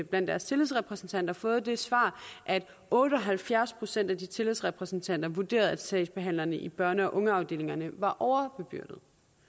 blandt deres tillidsrepræsentanter fået det svar at otte og halvfjerds procent af de tillidsrepræsentanter vurderede at sagsbehandlerne i børn og ungeafdelingerne var overbebyrdede